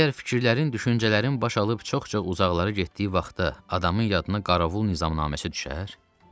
Məgər fikirlərin, düşüncələrin baş alıb çox-çox uzaqlara getdiyi vaxtda adamın yadına Qaravul nizamnaməsi düşər?